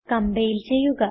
compile ചെയ്യുക